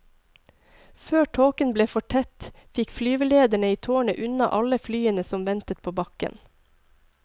Før tåken ble for tett, fikk flyvelederne i tårnet unna alle flyene som ventet på bakken.